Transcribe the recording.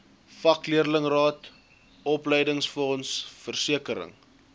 vakleerlingraad opleidingsfonds versekering